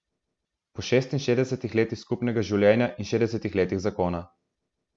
Po šestinšestdesetih letih skupnega življenja in šestdesetih letih zakona.